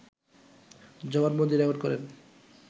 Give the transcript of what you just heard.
জবানবন্দী record করেন